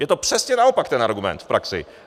Je to přesně naopak, ten argument v praxi.